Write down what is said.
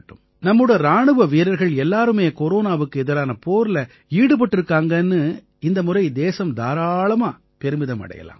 நம்மோட இராணுவ வீரர்கள் எல்லாருமே கொரோனாவுக்கு எதிரான போர்ல ஈடுபட்டிருக்காங்கன்னு இந்த முறை தேசம் தாராளமா பெருமிதம் அடையலாம்